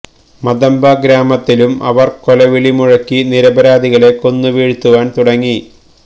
മതബ ഗ്രാമത്തിലും അവര് കൊലവിളി മുഴക്കി നിരപരാധികളെ കൊന്നു വീഴ്ത്തുവാന് തുടങ്ങി